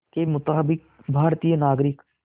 के मुताबिक़ भारतीय नागरिक